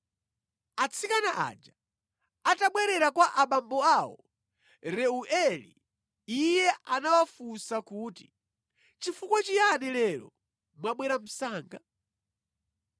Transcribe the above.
Atsikana aja atabwerera kwa abambo awo Reueli, iye anawafunsa kuti, “Chifukwa chiyani lero mwabwera msanga?”